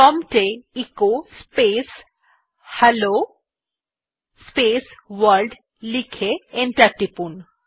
prompt এ echo space hello world লিখে enter টিপুন